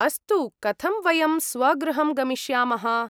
अस्तु, कथं वयं स्वगृहं गमिष्यामः ?